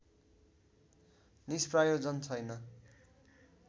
निष्प्रयोजन छैन